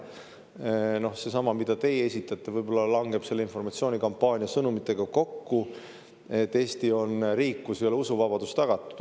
See, mida teie esitate, võib-olla langeb selle informatsioonikampaania sõnumitega kokku, et Eesti on riik, kus ei ole usuvabadus tagatud.